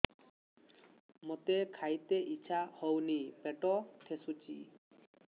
ମୋତେ ଖାଇତେ ଇଚ୍ଛା ହଉନି ପେଟ ଠେସୁଛି